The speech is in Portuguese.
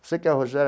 Você que é